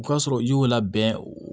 O k'a sɔrɔ i y'o labɛn o